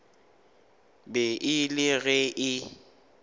be e le ge e